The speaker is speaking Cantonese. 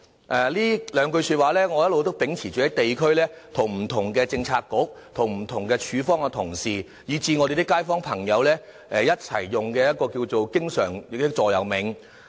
我一直秉持着這幾句說話，在地區與不同的政策局和政府部門的同事，以至我們的街坊朋友，作為我經常用的座右銘。